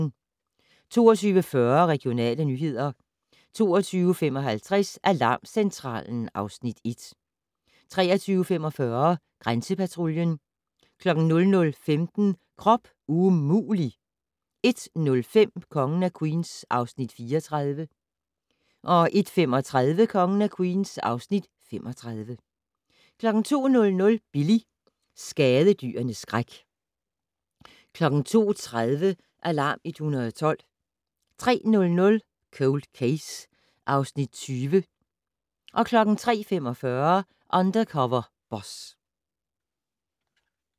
22:40: Regionale nyheder 22:55: Alarmcentralen (Afs. 1) 23:45: Grænsepatruljen 00:15: Krop umulig! 01:05: Kongen af Queens (Afs. 34) 01:35: Kongen af Queens (Afs. 35) 02:00: Billy - skadedyrenes skræk 02:30: Alarm 112 03:00: Cold Case (Afs. 20) 03:45: Undercover Boss